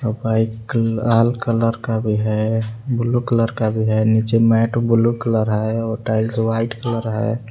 Bike लाल colour का भी है ब्लू कलर का भी है। नीचे मैट ब्लू कलर है और टाइल्स व्हाइट कलर है।